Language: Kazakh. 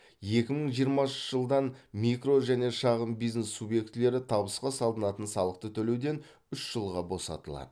екі мың жиырмасыншы жылдан микро және шағын бизнес субъектілері табысқа салынатын салықты төлеуден үш жылға босатылады